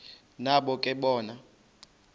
nabo ke bona